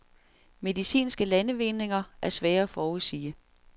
Medicinske landvindinger er svære at forudsige.